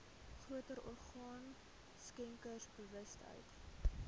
groter orgaan skenkersbewustheid